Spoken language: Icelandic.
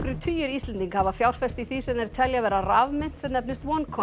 tugir Íslendinga hafa fjárfest í því sem þeir telja vera rafmynt sem nefnist